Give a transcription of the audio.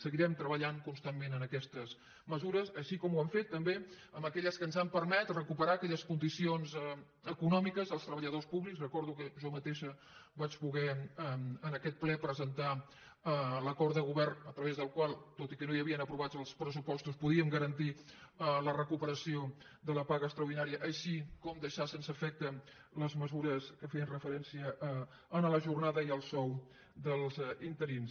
seguirem treballant constantment en aquestes mesures com ho hem fet també amb aquelles que ens han permès recuperar aquelles condicions econòmiques dels treballadors públics recordo que jo mateixa vaig poder en aquest ple presentar l’acord de govern a través del qual tot i que no hi havien aprovats els pressupostos podíem garantir la recuperació de la paga extraordinària com també deixar sense efecte les mesures que feien referència a la jornada i al sou dels interins